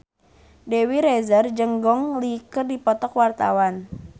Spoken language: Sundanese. Dewi Rezer jeung Gong Li keur dipoto ku wartawan